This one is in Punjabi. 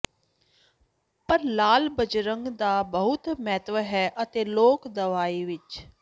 ਪਰ ਲਾਲ ਬਜ਼ੁਰਗ ਦਾ ਬਹੁਤ ਮਹੱਤਵ ਹੈ ਅਤੇ ਲੋਕ ਦਵਾਈ ਵਿੱਚ